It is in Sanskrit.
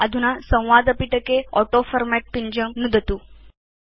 अधुना संवादपिटके ऑटोफॉर्मेट् पिञ्जं नुदतु